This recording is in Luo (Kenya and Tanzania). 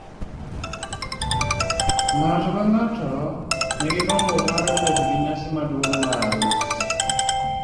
ng'ato ka ng'ato ni gi gombo mar bet gi nyasi maduong' mar arus